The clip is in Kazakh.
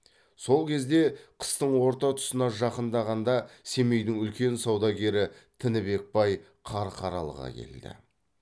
сол кезде қыстың орта тұсына жақындағанда семейдің үлкен саудагері тінібек бай қарқаралыға келді